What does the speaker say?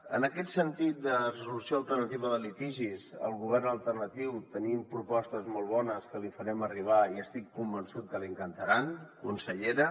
en aquest sentit de resolució alternativa de litigis al govern alternatiu tenim propostes molt bones que les hi farem arribar i estic convençut que li encantaran consellera